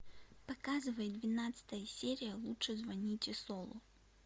показывай двенадцатая серия лучше звоните солу